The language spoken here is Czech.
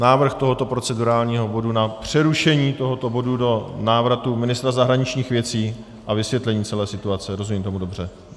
Návrh tohoto procedurálního bodu na přerušení tohoto bodu do návratu ministra zahraničních věcí a vysvětlení celé situace - rozumím tomu dobře?